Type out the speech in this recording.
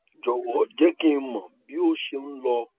jọwọ jẹ kí n mọ bí ó ṣe n lọ